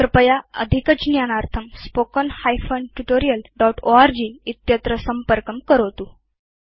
कृपया अधिकज्ञानार्थं contactspoken tutorialorg संपर्कं करोतु